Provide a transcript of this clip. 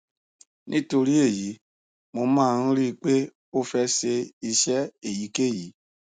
nítorí èyí mo máa ń rí i pé ó fẹ ṣe iṣẹ èyíkéyìí